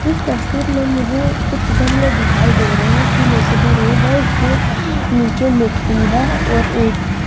इस तस्वीर मे मुझे कुछ गमले दिखाई दे रहे है फूलों से भरे वे इसके नीचे मिट्टी है और ये एक --